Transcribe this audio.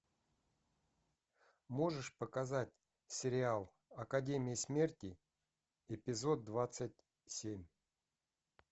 можешь показать сериал академия смерти эпизод двадцать семь